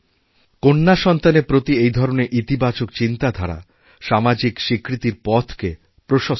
কন্যাসন্তানের প্রতি এই ধরনের ইতিবাচক চিন্তাধারা সামাজিক স্বীকৃতির পথকেপ্রশস্ত করে